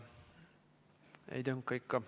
Ei tönka ikka.